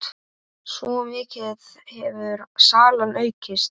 Svo mikið hefur salan aukist.